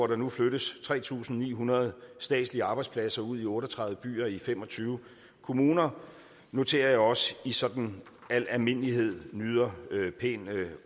der nu flyttes tre tusind ni hundrede statslige arbejdspladser ud i otte og tredive byer i fem og tyve kommuner noterer jeg også sådan i al almindelighed nyder pæn